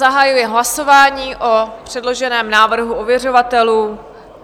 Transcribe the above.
Zahajuji hlasování o předloženém návrhu ověřovatelů.